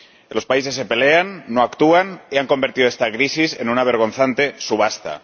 Los países se pelean, no actúan y han convertido esta crisis en una vergonzante subasta.